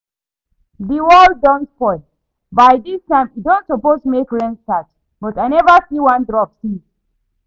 The world don spoil, by dis time e don suppose make rain start but I never see one drop since